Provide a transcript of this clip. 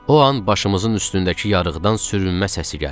O an başımızın üstündəki yarıqdan sürünmə səsi gəldi.